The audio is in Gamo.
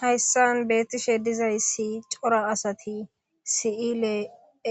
Hayssan beettishe dizayssi cora asati si'ile